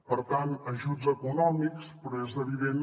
per tant ajuts econòmics però és evident